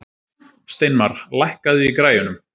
Steinmar, lækkaðu í græjunum.